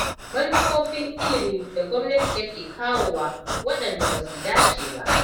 Manufofin ilimi da gwamnati take kawowa, waɗanda ba su dace ba.